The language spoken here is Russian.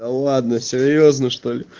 да ладно серьёзно что-ли